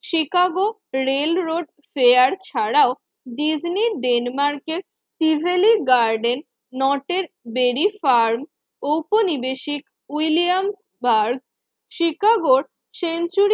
Chicago railroad fair ছাড়াও Disney ডেনমার্কের সিজালি গার্ডেন নটের ভেরি ফার্ম উপনিবেশিক উইলিয়ামস পার্ক শিকাগোর সেঞ্চুর